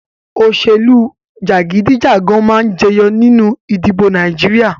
Òṣèlú jagidijagan máa jẹyọ nínú ìdìbò Nàìjíríà